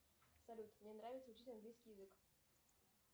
салют мне нравится учить английский язык